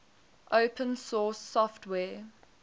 open source software